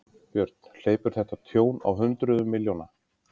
Björn: Hleypur þetta tjón á hundruðum milljóna?